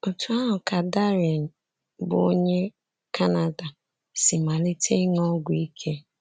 Otú ahụ ka Darren, bụ́ onye Canada, si malite ịṅụ ọgwụ ike.